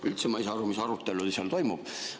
Üldse ma ei saa aru, mis arutelu teil seal toimub.